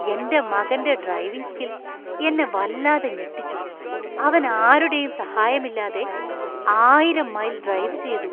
എന്‍റെ മകന്‍റെ driving skill എന്നെ വല്ലാതെ ഞെട്ടിച്ചു. അവൻ ആരുടെയും സഹായമില്ലാതെ ആയിരം മൈല്‍ ഡ്രൈവ് ചെയ്തു.